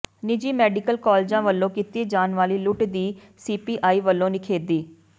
ਨਿਜੀ ਮੈਡੀਕਲ ਕਾਲਜਾਂ ਵਲੋਂ ਕੀਤੀ ਜਾਣ ਵਾਲੀ ਲੁੱਟ ਦੀ ਸੀਪੀਆਈ ਵਲੋਂ ਨਿਖੇਧੀ